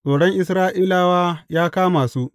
Tsoron Isra’ilawa ya kama su.